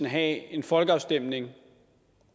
have en folkeafstemning